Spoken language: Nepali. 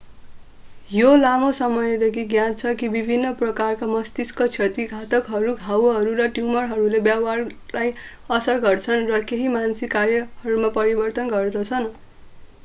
यो लामो समयदेखि ज्ञात छ कि विभिन्न प्रकारका मस्तिष्क क्षति आघातहरू घाउहरू र ट्यूमरहरूले व्यवहारलाई असर गर्दछन् र केही मानसिक कार्यहरूमा परिवर्तन गर्दछन्